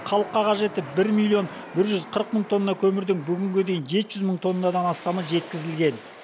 халыққа қажетті бір миллион бір жүз қырық мың тонна көмірдің бүгінге дейін жеті жүз мың тоннадан астамы жеткізілген